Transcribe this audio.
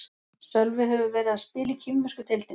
Sölvi hefur verið að spila í kínversku deildinni.